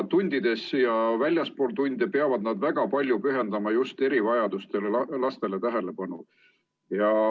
Tundides ja väljaspool tunde peavad nad pühendama väga palju tähelepanu just erivajadustega lastele.